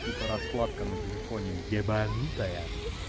сука раскладка на телефоне ебанутая